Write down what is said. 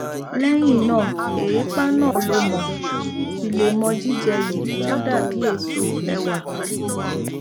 lẹyìn náà èépá náà lọ mo sì lè mọ jíjẹ yìí tó dàbí èso ẹwà